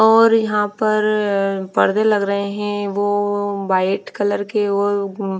और यहाँ पर पर्दे लग रहे हैं वो वाइट कलर के और--